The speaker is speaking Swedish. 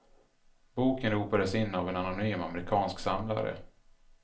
Boken ropades in av en anonym amerikansk samlare.